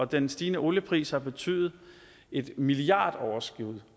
den stigende oliepris har betydet et milliardoverskud